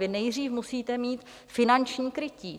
Vy nejdřív musíte mít finanční krytí.